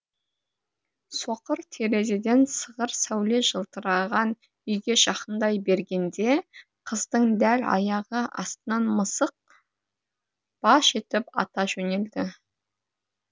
соқыр терезеден сығыр сәуле жылтыраған үйге жақындай бергенде қыздың дәл аяғы астынан мысық баж етіп ата жөнелді